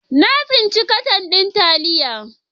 Na tsinci katan din taliya.